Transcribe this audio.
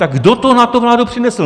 Tak kdo to na tu vládu přinesl?